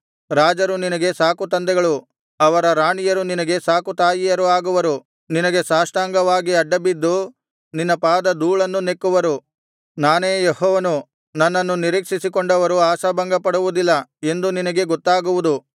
ರಾಜರು ನಿನಗೆ ಸಾಕುತಂದೆಗಳು ಅವರ ರಾಣಿಯರು ನಿನಗೆ ಸಾಕುತಾಯಿಯರು ಆಗುವರು ನಿನಗೆ ಸಾಷ್ಟಾಂಗವಾಗಿ ಅಡ್ಡಬಿದ್ದು ನಿನ್ನ ಪಾದಧೂಳನ್ನು ನೆಕ್ಕುವರು ನಾನೇ ಯೆಹೋವನು ನನ್ನನ್ನು ನಿರೀಕ್ಷಿಸಿಕೊಂಡವರು ಆಶಾಭಂಗಪಡುವುದಿಲ್ಲ ಎಂದು ನಿನಗೆ ಗೊತ್ತಾಗುವುದು